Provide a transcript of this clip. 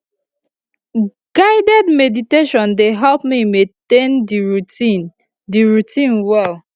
guided meditation dey help me maintain the routine the routine well